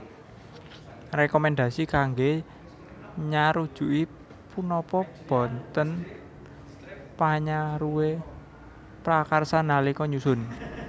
Rekomendasi kangge nyarujuki punapa boten panyaruwe prakarsa nalika nyusun